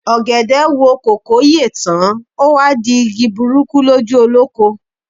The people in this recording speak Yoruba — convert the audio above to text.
Ọ̀gẹ̀dẹ̀ wo kòkó yè tán, o wá di igi burúkú lójú olóko.